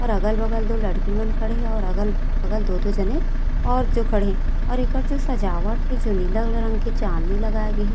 और अगल बगल दो लड़की मन खड़े हे और अगल-बगल दो-दो झने और जो खड़े हे और एकर जो सजावट हे नीला कलर के चांदी लगाए गे हे।